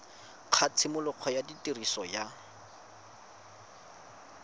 ga tshimologo ya tiriso ya